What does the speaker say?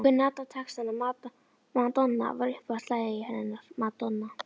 Hún kunni allan textann, Madonna var uppáhaldið hennar, Madonna